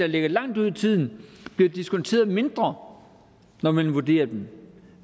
ligger langt ude i tiden bliver diskonteret mindre når man vurderer dem